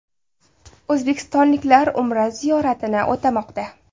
O‘zbekistonliklar Umra ziyoratini o‘tamoqda.